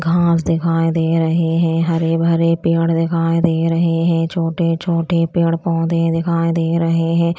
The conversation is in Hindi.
घाँस दिखाई दे रहे हैं हरे भरे पेड़ दिखाएं दे रहे हैं छोटे छोटे पेड़ पौधे दिखाई दे रहे हैं।